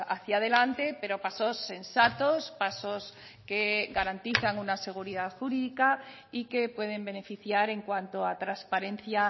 hacia adelante pero pasos sensatos pasos que garantizan una seguridad jurídica y que pueden beneficiar en cuanto a transparencia